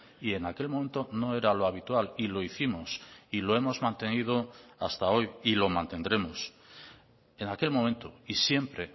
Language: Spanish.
y en aquel momento no era lo habitual y lo hicimos y lo hemos mantenido hasta hoy y lo mantendremos en aquel momento y siempre